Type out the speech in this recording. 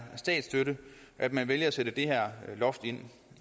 statsstøtte at man vælger at sætte det her loft ind